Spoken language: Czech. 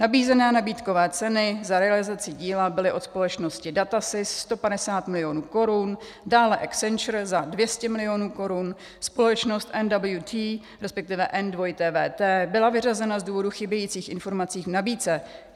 Nabízené nabídkové ceny za realizaci díla byly od společnosti DATASYS 150 milionů korun, dále Accenture za 200 milionů korun, společnost NWT, respektive NWT byla vyřazena z důvodů chybějících informací v nabídce.